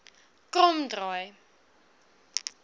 kromdraai